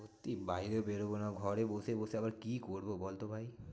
সত্যি বাইরে বেরোবো না ঘরে বসে বসে আবার কি করবো বলতো ভাই?